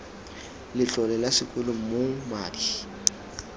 letlole la sekolo moo madi